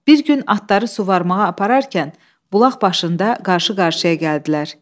Bir gün atları suvarmağa apararkən bulaq başında qarşı-qarşıya gəldilər.